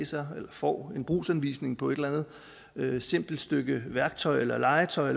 taget får en brugsanvisning på et eller andet simpelt stykke værktøj eller legetøj